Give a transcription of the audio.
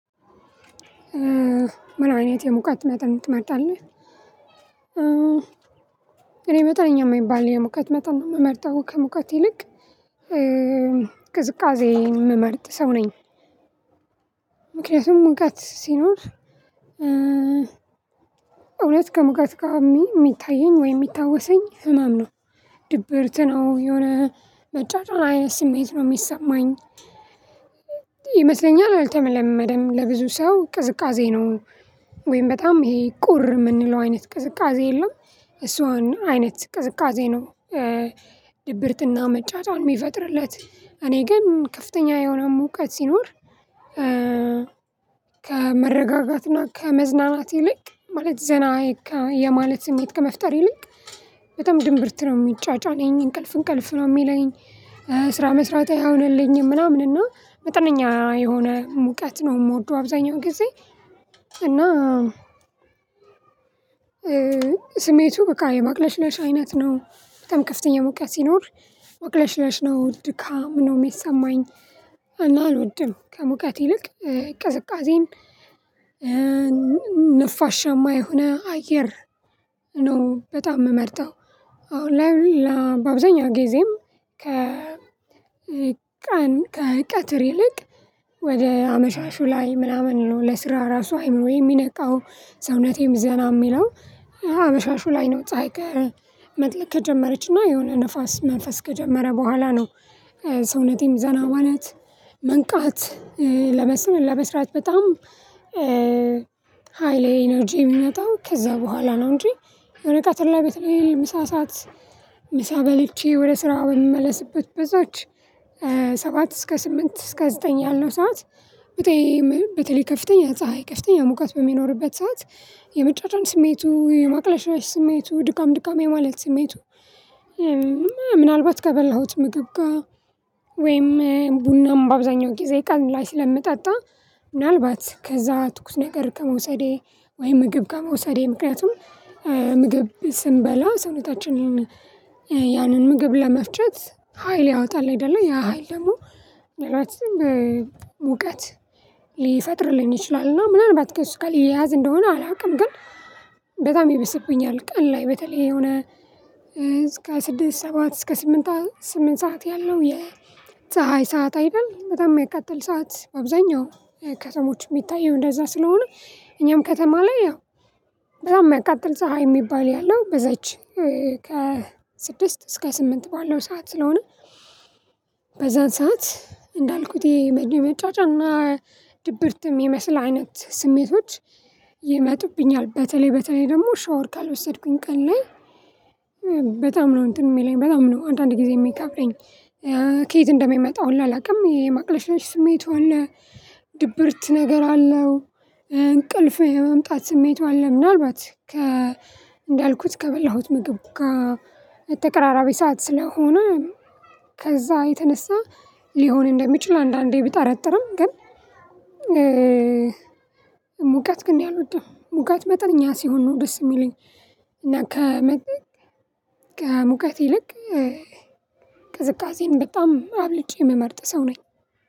ምን አይነት የሙቀት መጠን ትመርጣለህ? እኔ መጠነኛ የማይባል የሙቀት መጠን ነው የምመርጠው ከሙቀት ይልቅ ቅዝቃዜ የምመርጥ ሰው ነኝ። ምክንያቱም ሙቀት ሲኖር እውነት ከሙቀት ጋር የሚታየኝ ወይ የሚታወሰኝ ህመም ነው ድብርት ነው የሆነ መጫጫን አይነት ስሜት ነው የሚሰማኝ። ይመስለኛል አልተለመለመደም ለብዙ ሰው ቅዝቃዜ ነው ወይም በጣም ይሄ ቁር የምንለው አይነት ቅዝቃዜ የለም። እሷን አይነት ቅዝቃዜ ነው። ድብርትና መጫጫን የሚፈጥርለት እኔ ግን ከፍተኛ የሆነ ሙቀት ሲኖር ከመረጋጋትና ከመዝናናት ይልቅ ማለት ዘና የማለት ስሜት ከመፍጠር ይልቅ በጣም ድንብርት ነው የሚጫጫነኝ እንቅልፍ እንቅልፍ ነው የሚለኝ። ስራ መስራት አይሆንልኝም ምናምን እና መጠነኛ የሆነ ሙቀት ነው የምወደው አብዛኛው ጊዜ። እና ስሜቱ በቃ የማቅለሽለሽ አይነት ነው በጣም ከፍተኛ ሙቀት ሲኖር ማቅለሽለሽ ነው ድካሙ ነው የሚሰማኝ አልወድም ከሙቀት ይልቅ ቅዝቃዜን ነፋሻማ የሆነ አየር ነው በጣም የምመርጠው። አሁን ላይ ለ ባብዛኛው ጊዜም ከ ቀን ከቀትር ይልቅ ወደ አመሻሹ ላይ ምናምን ነው ለስራ ራሱ አይምሮዬ የሚነቃው ሰውነቴም ዘና የሚለው አመሻሹ ላይ ነው ፀሀይ ከመጥለቅ ከጀመረችና የሆነ ንፋስ መንፈስ ከጀመረ በኋላ ነው። ሰውነቴም ዘና ማለት መንቃት ለመስራት በጣም ሃይሌ ኢነርጂዬ የሚመጣው ከዛ በኋላ ነው። እንጂ የሆነ ቀጥር ቤት ላይ ምሳ ሰዓት ምሳ በልቼ ወደ ስራ በምመለስበት በዛች ሰባት እስከ ስምንት እስከ ዘጠኝ ያለው ሰዓት ውጤ በተለይ ከፍተኛ ፀሀይ የከፍተኛ ሙቀት በሚኖርበት ሰዓት የመጫጫን ስሜቱ የማቅለሽለሽ ስሜቱ ድካም ድካም የማለት ስሜቱ። ምናልባት ከበላሁት ምግብ ጋር ወይም ቡናም በአብዛኛው ጊዜ ቀኑ ላይ ስለምጠጣ ምናልባት ከዛ ትኩስ ነገር ከመውሰዴ ወይ ምግብ ከመውሰዴ ምክንያቱም ምግብ ስንበላ ስሜታችንን ያንን ምግብ ለመፍጨት ሀይል ያወጣል አይደለ ያ ሀይል ደግሞ ሌላው ሙቀት ሊፈጥርልኝ ይችላል እና ምናልባት ከሱ ጋር የሚያያዝ እንደሆነ አላውቅም ግን በጣም ይበስብኛል። ቀን ላይ በተለይ የሆነ ስድስት ሰባት እስከ ስምንት ስምንት ሰዓት ያለው የፀሀይ ሰዓት አይደል በጣም የሚያቃጥል ሰዓት በአብዛኛው ከተሞች የሚታየው እንደዛ ስለሆነ እኛም ከተማ ላይ ያው በጣም የሚያቃጥል ፀሀይ የሚባል ያለው በዛች ከ ስድስት እስከ ስምንት ባለው ሰዓት ስለሆነ በዛን ሰዓት እንዳልኩት የመጫጫንና ድብርት የሚመስል አይነት ስሜቶች ይመጡብኛል። በተለይ በተለይ ደግሞ ሻወር ካልወሰድኩኝ ቀን ላይ በጣም ነው እንትን የሚለኝ በጣም ነው አንዳንዴ ጊዜ የሚቀፈኝ ከየት እንደሚመጣ ሁላ አላውቅም የማቅለሽለሽ ስሜቲ አለ ድብርት ነገር አለው። እንቅልፍ የመምጣት ስሜቱ አለ ምናልባት ከ እንዳልኩት ከበላሁት ምግብ ጋ ተቀራራቢ ሰዓት ስለሆነ ከዛ የተነሳ ሊሆን እንደሚችል አንዳንዴ ብጠረጥርም ግን ግን እኔ አልወድም ሙቀት መጠኛ ሲሆን ነው ደስ የሚለኝ። እና ከመን ከሙቀት ይልቅ ቅዝቃዜን በጣም አብልጬ የምመርጥ ሰው ነኝ።